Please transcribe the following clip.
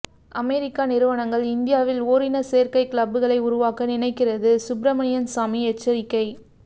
அமெரிக்க நிறுவனங்கள் இந்தியாவில் ஓரின சேர்க்கை கிளப்களை உருவாக்க நினைக்கிறது சுப்பிரமணியன் சாமி எச்சரிக்கை